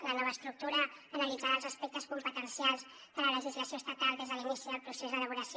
la nova estructura analitzarà els aspectes competencials de la legislació estatal des de l’inici del procés d’elaboració